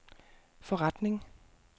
forretning